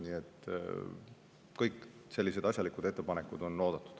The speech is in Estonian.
Nii et kõik sellised asjalikud ettepanekud on oodatud.